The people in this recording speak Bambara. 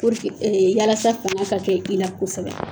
Purke yalasa fanga ka kɛ i la kosɛbɛ.